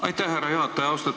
Aitäh, härra juhataja!